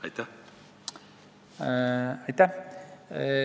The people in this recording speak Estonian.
Aitäh!